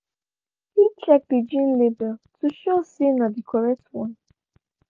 he check the jean label to sure say na the correct one